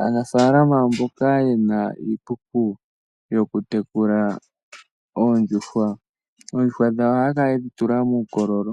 Aanafaalama mboka ye na iikuku yokutekula oondjuhwa, oondjuhwa dhawo ohaya kala ye dhi tula muukololo